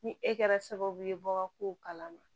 Ni e kɛra sababu ye ka kow kalama